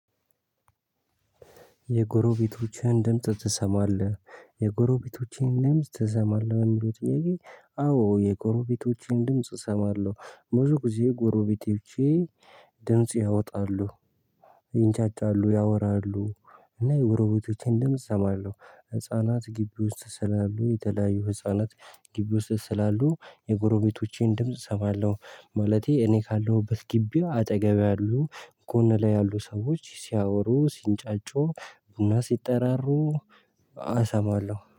የጎሮቤቶችህን ድምጽ ትሰማለህ የጎሮቤቶቼን ድምጽ ትሰማለህ የሚለው ጥያቄ? አዎ የጎሮቤቶቼን ድምጽ እሰማለሁ። ብዙ ጊዜ ጎሮቤቶቼ ድምጽ ያወጣሉ ይንጫጫሉ ያወራሉ እና የጎረቤቶቼን ድምጽ እሰማለሁ። ህፃናት ግቢ ውስጥ ስላሉ የተለያዩ ህፃናት ግቢ ውስጥ ስላሉ የጎረቤቶቼን ድምጽ እሰማለሁ። ማለቴ እኔ ካለሁበት ግቢ አጠገብ ያሉ ጎን ላይ ያሉ ሰዎች ሲያወሩ ሲንጫጩ እና ሲጠራሩ አሰማለሁ